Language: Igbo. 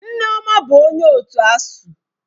Nneoma bụ onye otu ASUU.